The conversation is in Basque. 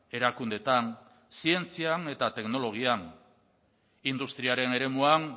erakundeetan zientzian eta teknologian industriaren eremuan